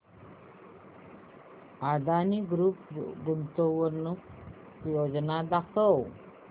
Adani group गुंतवणूक योजना दाखव